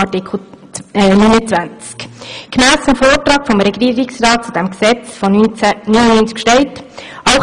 Im Vortrag des Regierungsrats von 1999 zu diesem Gesetz steht: «[…]